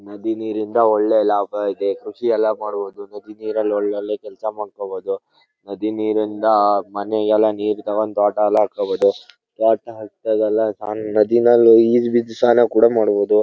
ನದಿ ನೀರಿಂದ ಒಳ್ಳೆ ಲಾಭ ಇದೆ ಕೃಷಿ ಎಲ್ಲ ಮಾಡಬಹುದು. ನದಿ ನೀರ್ ನಲ್ಲಿ ಒಳ್ಳೆ ಕೆಲ್ಸ ಮಾಡಕೊಬಹುದು ನದಿ ನೀರಿಂದ ಮನೆಗೆಲ್ಲ ನೀರ್ ಇದಾವಲ್ಲ ತೊಟಾಗೆಲ್ಲ ಹಾಕೋಬಹುದು. ನಾದಿನಲ್ಲಿ ಈಜ್ ಬಿದ್ದ್ ಸ್ನಾನ ಕೂಡ ಮಾಡಬಹುದು.